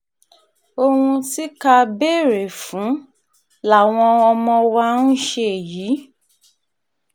ohun tí ká béèrè fún làwọn ọmọ wa ń ṣe yìí